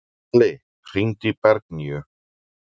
Salli, hringdu í Bergnýju.